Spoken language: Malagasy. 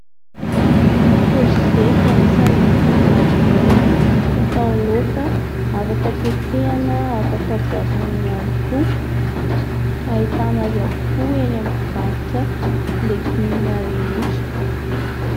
Korzety anisany legioma iray fatao laoka afaka tetehana, afaka voasana ihany koa. Ahitana azy avokoa eny amin'ny mpivarotra legioma rehetra.